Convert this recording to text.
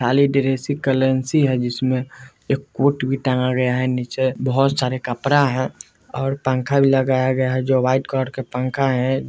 खाली ड्रेस का है जिसमें एक कोट भी टंगा गया है नीचे एक बहुत सारी कपड़ा हैं और पंखा भी लगाया गया है जो वाइट कलर का पंखा है।